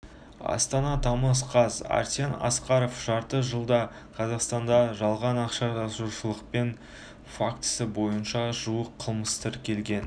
астана тамыз қаз арсен асқаров жарты жылда қазақстанда жалған ақша жасаушылық фактісі бойынша жуық қылмыс тіркелген